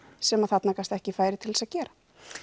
sem þarna gafst ekki færi til að gera